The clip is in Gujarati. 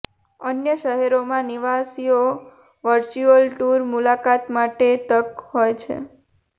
અન્ય શહેરોમાં નિવાસીઓ વર્ચ્યુઅલ ટૂર મુલાકાત માટે તક હોય છે